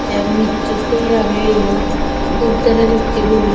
te miss so tei aage eyod dub dress usse guri.